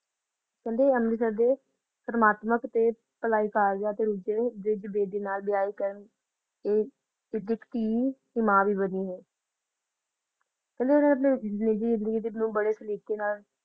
ਕਹਿੰਦੇ ਅੰਮ੍ਰਿਤਸਰ ਦੇ ਸਤਮਾਤਮਕ ਤੇ ਭਲਾਈ ਕਾਰਜਾਂ ਤੇ ਰੁੱਝੇ ਬ੍ਰਿਜ ਬੇਦੀ ਨਾਲ ਵਿਆਹ ਕਰਨ ਤੇ ਇਸ ਦੀ ਇਕ ਧੀ ਤੇ ਮਾਂ ਵੀ ਬਣੀ ਹੈ ਕਹਿੰਦੇ ਇਹਨਾਂ ਆਪਣੀ ਨਿੱਜੀ ਜ਼ਿੰਦਗੀ ਨੂੰ ਬੜੇ ਤਰੀਕੇ ਨਾਲ